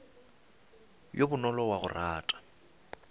yo bonolo wa go rata